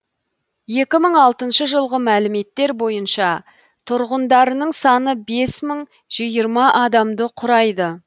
екі мың алтыншы жылғы мәліметтер бойынша тұрғындарының саны бес мың жиырма адамды құрайды